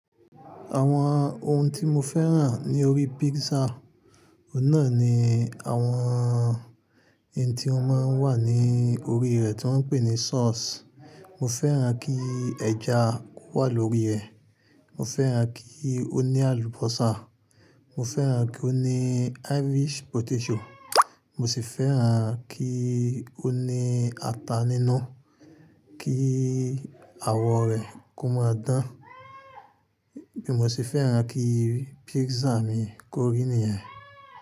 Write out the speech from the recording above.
Àwọn ohun tí mo fẹ́ràn ní orí pizza, òun n nà ni àwọn n tí ó máa ń wà ní orí rẹ̀ tí wọ́n ń pè ní sauce. Mo fẹ́ràn kí ẹja wà lórí rẹ̀, mo fẹ́ràn kí ó ní àlùbọ́sà, mo fẹ́ràn kí ó ní Irish potato, mo sì fẹ́ràn kí ó ní ata nínú, kí awọ rẹ̀ kó máa dán, bí mo sì fẹ́ràn kí pizza mi kó rí nìyẹn.